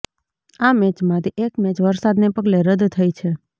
આ મેચમાંથી એક મેચ વરસાદને પગલે રદ થઈ છે